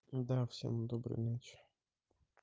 да всем доброй ночи